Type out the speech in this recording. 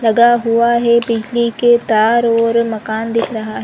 लगा हुआ है बिजली के तार और मकान दिख रहा है ।